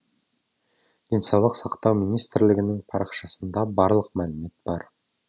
денсаулық сақтау министрлігінің парақшасында барлық мәлімет бар